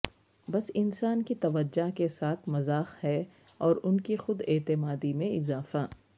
بس انسان کی توجہ کے ساتھ مذاق ہے اور ان کی خود اعتمادی میں اضافہ